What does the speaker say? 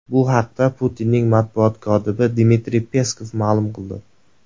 Bu haqda Putinning matbuot kotibi Dmitriy Peskov ma’lum qildi.